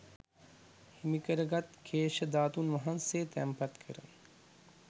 හිමිකර ගත් කේශ ධාතුන් වහන්සේ තැන්පත් කර